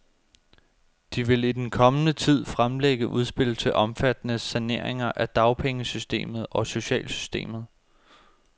De vil i den kommende tid fremlægge udspil til omfattende saneringer af dagpengesystemet og socialsystemet.